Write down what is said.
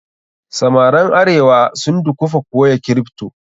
Samaran arewa sun dukufa koya kripto.